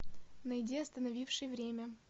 найди остановивший время